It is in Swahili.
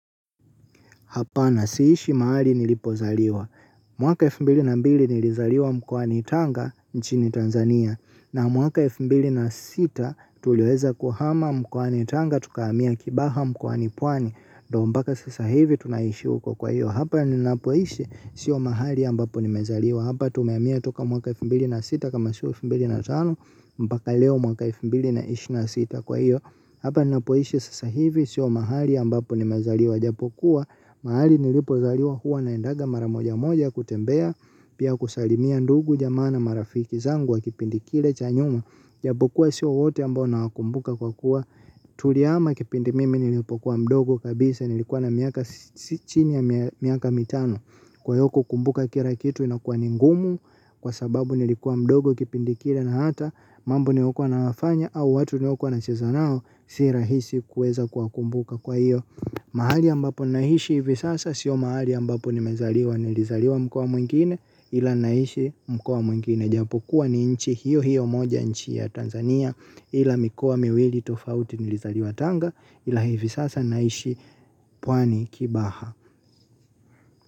Hapana siishi mahali nilipozaliwa. Mwaka elfu mbili na mbili nilizaliwa mkwani tanga nchini Tanzania. Na mwaka elfu mbili na sita tuliweza kuhama mkwani tanga tukahamia kibaha mkoani pwani. Ndiyo mpaka sasa hivi tunaishi huko kwa hiyo. Hapa ninapoishi sio mahali ambapo nimezaliwa. Hapa tumehamia toka mwaka elfu mbili na sita kama si elfu mbili na tano. Mpaka leo mwaka elfu mbili na ishirini na sita kwa hiyo hapa ninapoishi sasa hivi sio mahali ambapo nimezaliwa ijapokuwa mahali nilipozaliwa huwa naendaga mara mojamoja kutembea. Pia kusalimia ndugu jamaa na marafiki zangu wa kipindi kile cha nyuma japokuwa sio wote ambao nawakumbuka kwa kuwa tulihama kipindi mimi nilipokuwa mdogo kabisa nilikuwa na miaka si chini ya miaka mitano. Kwa hiyo kukumbuka kila kitu inakuwa ni ngumu. Kwa sababu nilikuwa mdogo kipindi kile na hata mambo niliyokuwa nayafanya au watu niliokuwa nacheza nao si rahisi kuweza kuwakumbuka kwa hiyo. Mahali ambapo naishi hivi sasa sio mahali ambapo nimezaliwa. Nilizaliwa mkoa mwingine ila nahishi mkoa mwingine. Japokuwa ni nchi hiyo hiyo moja nchi ya Tanzania ila mikoa miwili tofauti nilizaliwa tanga ila hivi sasa naishi pwani kibaha.